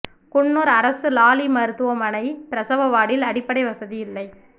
குன்னூர் அரசு லாலி மருத்துவமனை பிரசவ வார்டில் அடிப்படை வசதி இல்லை